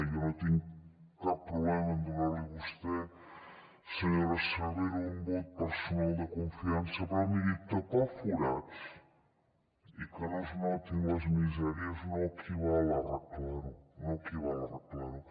jo no tinc cap problema en donar li a vostè senyora cervera un vot personal de confiança però miri tapar forats i que no es notin les misèries no equival a arreglar ho no equival a arreglar ho